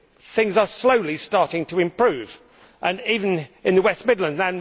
Things are slowly starting to improve, even in the West Midlands.